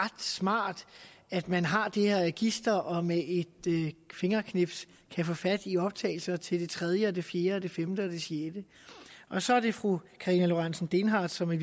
ret smart at man har det her register og med et fingerknips kan få fat i optagelser til det tredje og det fjerde og det femte og det sjette og så er det fru karina lorentzen dehnhardt som i